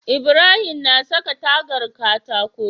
Ibrahim na saka tagar katako